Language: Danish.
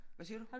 Hvad siger du?